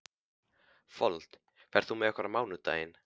Fold, ferð þú með okkur á mánudaginn?